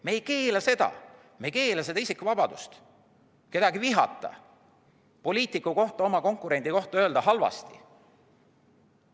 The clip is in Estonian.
Me ei keela seda, me ei keela isikuvabadust kedagi vihata, ei keela poliitiku kohta, oma konkurendi kohta öelda halvasti.